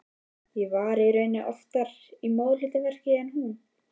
Ég var í raun oftar í móðurhlutverkinu en hún.